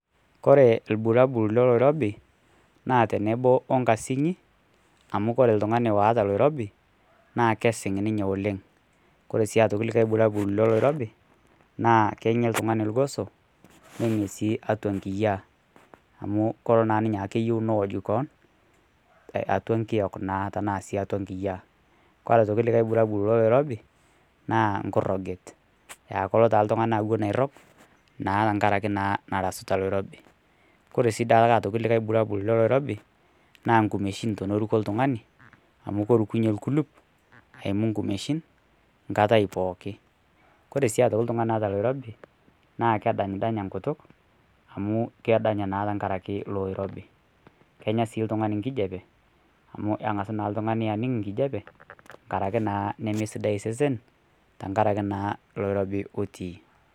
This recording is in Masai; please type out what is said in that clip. Koe irbulabul loloirobi naa teneboo okaasin amu kore iltung'ani oota loirobi naa keisiing' ninye oleng. Kore sii likai irbulabul naa keng'ee ltung'ani lng'oos ning'ee sii atua nkiyaa amu koloo naa ninye akeiyeu neooj koon atua nkiook naa tana sii atua nkiyaa. Kore aitokii likai irbulabul loloirobi naa ng'uroojet aa koiloo ltung'ani awuen airoog naa tang'araki nairasuta loirobi . Kore sii duake likai irbulabul loloirobi naa nkumeshiin tonoruko ltung'ani amu korukunye lkuluup aimuu nkumeshiin nkaatai pookin. Kore sii aitoki ltung'ani oota loirobi naa kedany danya nkutuuk amu keedanya naa tang'araki loloirobi. Kenyaa sii ltung'ani nkijeepe amu aing'aas naa ltung'ani aniing' nkijepee ng'araki naa nemee sidai sesen tang'araki naa loloirobi otii.